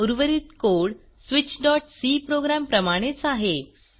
उर्वरित कोड switchसी प्रोग्राम प्रमाणेच आहे